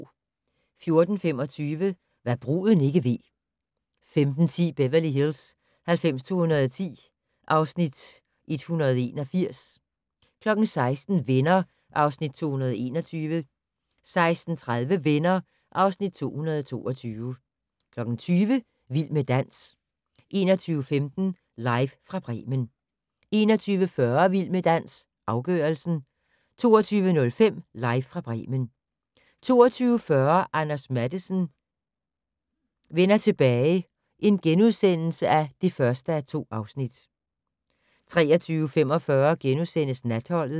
14:25: Hva' bruden ikke ved 15:10: Beverly Hills 90210 (Afs. 181) 16:00: Venner (Afs. 221) 16:30: Venner (Afs. 222) 20:00: Vild med dans 21:15: Live fra Bremen 21:40: Vild med dans - afgørelsen 22:05: Live fra Bremen 22:40: Anders Matthesen: Vender tilbage (1:2)* 23:45: Natholdet *